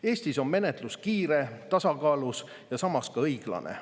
Eestis on menetlus kiire, tasakaalus ja samas ka õiglane.